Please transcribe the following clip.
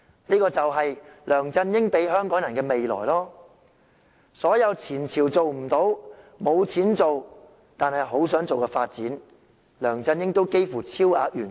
這就是梁振英給予香港人的未來，所有"前朝"做不到、沒有錢但很想做的發展，梁振英都幾乎超額完成。